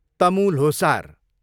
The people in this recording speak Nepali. तमु ल्होसार